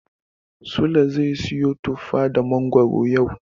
Sule zai siyo tufa da mangoro yau.